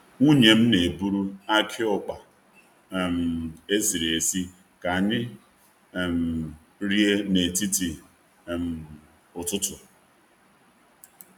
Nwunye m na-eburu aki ukpa um esiri esị ka anyị um rie n’etiti um ụtụtụ.